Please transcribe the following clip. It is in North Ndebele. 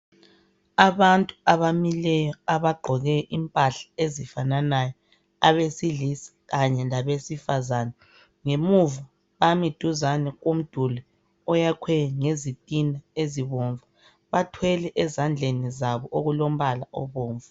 Abantu abamileyo abagqoke impahla ezifananayo abesilisa kanye labesifazane. Ngemuva bami duzane komduli oyakhwe ngezitina ezibomvu. Bathwele ezandleni zabo okulombala obomvu.